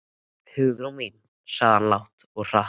Hugrún mín sagði hann lágt og hratt.